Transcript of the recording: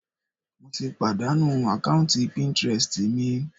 Mo ti pàdánù àkáùntì píntírẹstì mi.